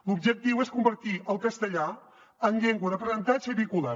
l’objectiu és convertir el castellà en llengua d’aprenentatge i vehicular